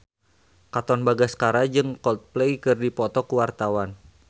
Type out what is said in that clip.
Katon Bagaskara jeung Coldplay keur dipoto ku wartawan